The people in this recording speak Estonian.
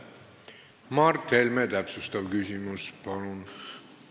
Mart Helme täpsustav küsimus, palun!